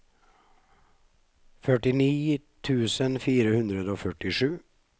førtini tusen fire hundre og førtisju